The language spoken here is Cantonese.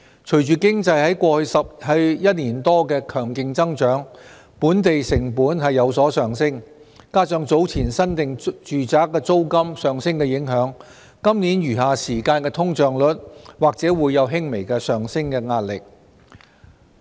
隨着經濟在過去一年多的強勁增長，本地成本有所上升，加上早前新訂住宅租金上升的影響，今年餘下時間的通脹率或會有輕微的上升壓力。